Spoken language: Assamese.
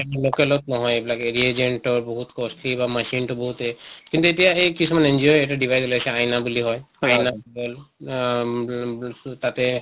local ত নহয় এইবিলাক এৰি agent ৰ বহুত costly বা machine টো বহুত এ, কিন্তু এতিয়া এই কিছুমান NGO য়ে এটা device ওলাইছে আইনা বুলি কয় আইনা তাতে